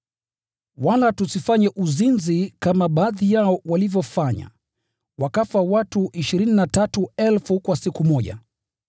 Wala tusifanye uzinzi kama baadhi yao walivyofanya, wakafa watu 23,000 kwa siku moja.